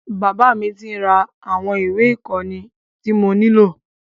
Bàbá mí tí bá mi ra àwọn ìwé ìkóni tí mo nílò.